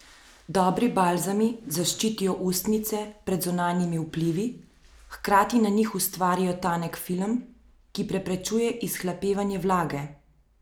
Dobri balzami zaščitijo ustnice pred zunanjimi vplivi, hkrati na njih ustvarijo tanek film, ki preprečuje izhlapevanje vlage.